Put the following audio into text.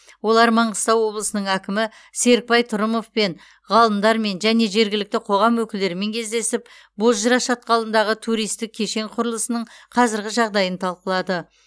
олар маңғыстау облысының әкімі серікбай тұрымовпен ғалымдармен және жергілікті қоғам өкілдерімен кездесіп бозжыра шатқалындағы туристік кешен құрылысының қазірғі жағдайын талқылады